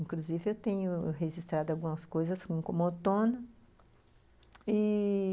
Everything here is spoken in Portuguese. Inclusive, eu tenho registrado algumas coisas como outono.